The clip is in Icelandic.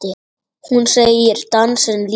Hún segir dansinn lífið.